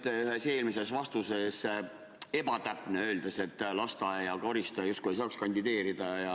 Te olite ühes eelmises vastuses ebatäpne, öeldes, et lasteaia koristaja justkui ei saaks kandideerida.